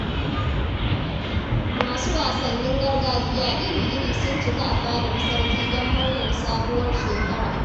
Masu wasannin gargajiya iri-iri sun cika a fadar sarki don murnar sabuwar shekara.